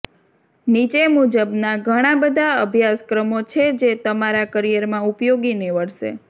નીચે મુજબના ઘણા બધા અભ્યાસક્રમો છે જે તમારા કરિયરમાં ઉપયોગી નીવડશે